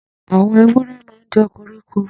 Àwọn èwúrè mà n jẹ kórikó